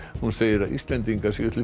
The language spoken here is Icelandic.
hún segir að Íslendingar séu til